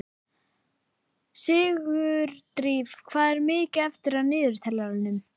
Sigurdríf, hvað er mikið eftir af niðurteljaranum?